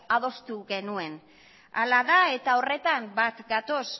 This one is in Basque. adostu genuen hala da eta horretan bat gatoz